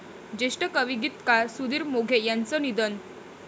ज्येष्ठ कवी, गीतकार सुधीर मोघे यांचं निधन